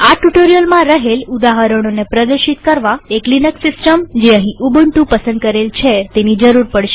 આ ટ્યુ્ટોરીઅલમાં રહેલ ઉદાહરણોને પ્રદર્શિત કરવા એક લિનક્સ સિસ્ટમજે અહીં ઉબુન્ટુ પસંદ કરેલ છે તેની જરૂર પડશે